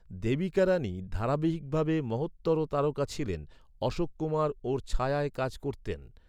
দেবিকা রানী ধারাবাহিকভাবে মহত্তর তারকা ছিলেন, অশোক কুমার ওঁর ছায়ায় কাজ করতেন।